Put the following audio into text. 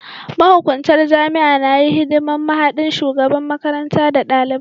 Mahukuntar jami'a na yi hidiman mahaɗin shugaban makaranta da dalibai.